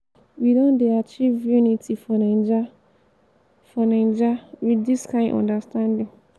we don dey achieve unity for naija for naija wit dis kind understanding.